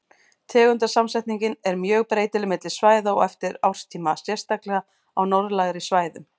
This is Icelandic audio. Tegundasamsetningin er mjög breytileg milli svæða og eftir árstíma, sérstaklega á norðlægari svæðum.